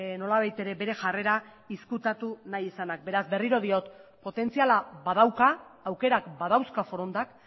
nolabait ere bere jarrera ezkutatu nahi izanak beraz berriro diot potentziala badauka aukerak badauzka forondak